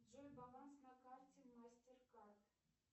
джой баланс на карте мастеркард